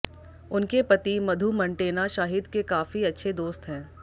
उनके पति मधु मंटेना शाहिद के काफी अच्छे दोस्त हैं